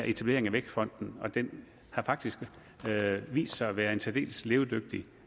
etablering af vækstfonden og den har faktisk vist sig at være en særdeles levedygtig